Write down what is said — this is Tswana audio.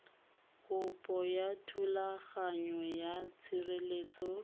kopo ya thulaganyo ya tshireletso